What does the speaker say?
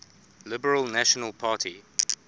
liberal national party